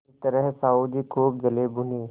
इस तरह साहु जी खूब जलेभुने